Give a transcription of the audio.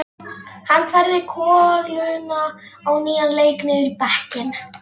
Hann færði koluna á nýjan leik niður í bekkinn.